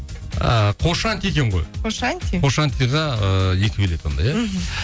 а қошанти екен ғой қошанти қошантиға ыыы екі билет онда иә мхм